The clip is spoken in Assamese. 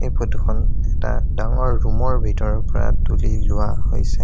এই ফটোখন এটা ডাঙৰ ৰুমৰ ভিতৰৰ পৰা তুলি লোৱা হৈছে।